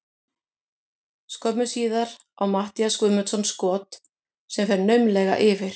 Skömmu síðar á Matthías Guðmundsson skot sem fer naumlega yfir.